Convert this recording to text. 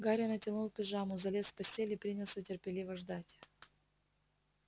гарри натянул пижаму залез в постель и принялся терпеливо ждать